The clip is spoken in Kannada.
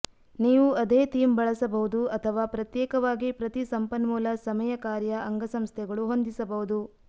ನೀವು ಅದೇ ಥೀಮ್ ಬಳಸಬಹುದು ಅಥವಾ ಪ್ರತ್ಯೇಕವಾಗಿ ಪ್ರತಿ ಸಂಪನ್ಮೂಲ ಸಮಯ ಕಾರ್ಯ ಅಂಗಸಂಸ್ಥೆಗಳು ಹೊಂದಿಸಬಹುದು